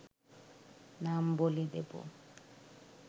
নাম বলে দেবো